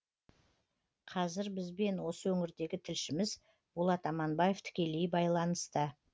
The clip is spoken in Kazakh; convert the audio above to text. қазір бізбен осы өңірдегі тілшіміз болат аманбаев тікелей байланыста